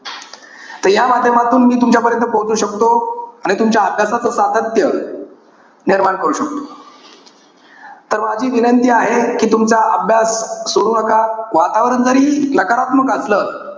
त या माध्यमातून मी तुमच्यापर्यंत पोहचू शकतो. आणि तुमच्या अभ्यासाचं सातत्य निर्माण करू शकतो. तर माझी विनंती आहे कि तुमचा अभ्यास सोडू नका. वातावरण जरी नकारत्मक असलं,